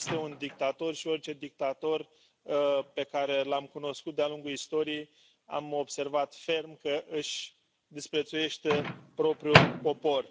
Este un dictator, și orice dictator pe care l am cunoscut de a lungul istoriei, am observat ferm că își disprețuiește propriul popor.